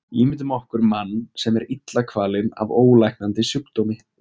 Ímyndum okkur mann sem er illa kvalinn af ólæknandi sjúkdómi.